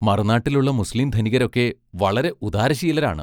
മറുനാട്ടിലുള്ള മുസ്ലീം ധനികരൊക്കെ വളരെ ഉദാരശീലരാണ്.